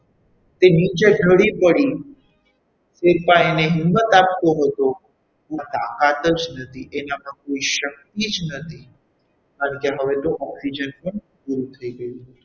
તે નીચે ઢળી પડી શેરપા એને હિંમત આપતો હતો એનામાં તાકાત જ નથી એનામાં કોઈ શક્તિ જ નથી કારણ કે હવે તો oxygen પણ પૂરો થઈ ગયો છે.